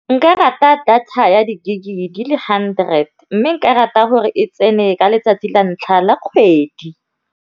Nka rata data ya di-gig di le hundred, mme nka rata gore e tsene ka letsatsi la ntlha la kgwedi.